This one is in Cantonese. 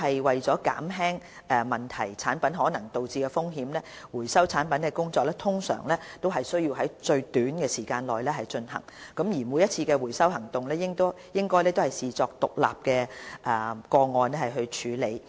為了減輕問題產品可能導致的風險，收回產品的工作通常須在最短時間內進行，每次回收行動亦應視作獨立個案處理。